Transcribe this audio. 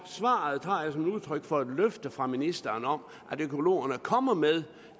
svaret tager jeg som udtryk for et løfte fra ministeren om at økologerne kommer med